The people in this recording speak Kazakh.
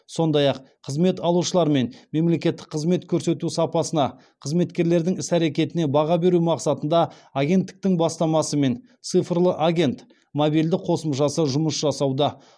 сондай ақ қызмет алушылар мен мемлекеттік қызмет көрсету сапасына қызметкерлердің іс әрекетіне баға беру мақсатында агенттіктің бастамасымен цифрлы агент мобильді қосымшасы жұмыс жасауда